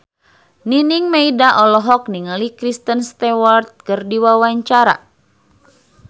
Nining Meida olohok ningali Kristen Stewart keur diwawancara